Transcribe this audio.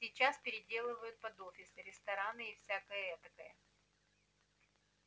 сейчас переделывают под офисы рестораны и всякое этакое